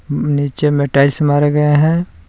नीचे में टाइल्स मारा गया है।